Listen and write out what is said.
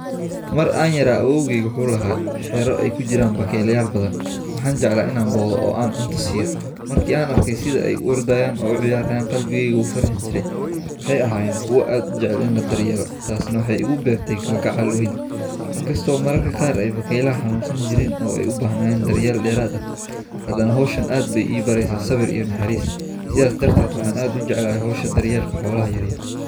Mar aan yaraa u oogay wuxuu laha xero ay ku jiraan bakaylayaal badan. Waxaan jeclaa inaan booqdo oo aan cunto siyo markii aan arkay sida ay u ordayeen oo cuiyaran qalbiga gu uu farax jiray. Waxay aheyn kuwa aad jeclen la daryeelo taasna waxay igu beertey gal gacal weyn. Inkastoo mararka qaarkood ay bakay la xanuunsan jireyn oo ay u bahnaayeen daryeel dheeraada. Haddana hawshana aad bay iibareysaa sabir iyo haris. Sidaas darteed waxaan aad u jeclaa haysha daryeelka xoolaha yaryar.